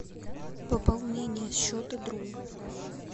пополнение счета друга